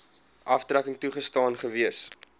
aftrekking toegestaan gewees